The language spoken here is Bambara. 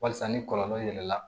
Walasa ni kɔlɔlɔ yɛlɛla